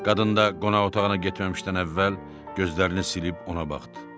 Qadın da qonaq otağına getməmişdən əvvəl gözlərini silib ona baxdı.